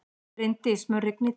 Bryndís, mun rigna í dag?